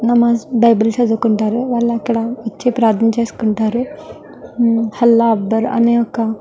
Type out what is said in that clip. నమాజ్ Bible చదువుకుంటారు వాళ్ళు అక్కడ వచ్చి ప్రరధామ చేసుకుంటారు హమ్ అల్లా అక్బర్ అనే ఒక --